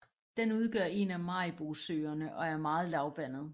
Den udgør én af Maribosøerne og er meget lavvandet